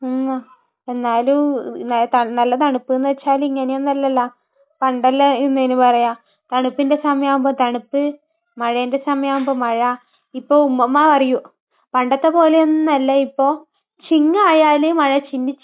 മ്മ്. എന്നാലും നല്ല തണുപ്പെന്ന് വെച്ചാൽ ഇങ്ങനെയൊന്നുമല്ലല്ല. പണ്ടെല്ലാം എന്താ ഇതിന് പറയാ തണുപ്പിന്റെ സമയമാവുമ്പോൾ തണുപ്പ്, മഴയുടെ സമയമാവുമ്പോൾ മഴ. ഇപ്പൊ ഉമ്മുമ്മ പറയും, പണ്ടത്തെപ്പോലെയൊന്നുമല്ല ഇപ്പൊ. ചിങ്ങമായാൽ മഴ ചിന്നി ചിന്നി